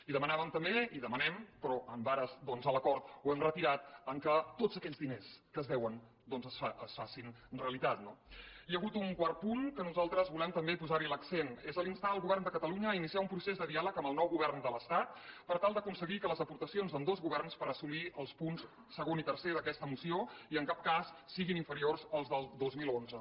i demanàvem també i demanem però en ares de l’acord ho hem retirat que tots aquells diners que es deuen doncs es facin realitat no hi ha hagut un quart punt que nosaltres volem també posar hi l’accent és instar el govern de catalunya a iniciar un procés de diàleg amb el nou govern de l’estat per tal d’aconseguir que les aportacions d’ambdós governs per assolir els punts segon i tercer d’aquesta moció i en cap cas siguin inferiors a les del dos mil onze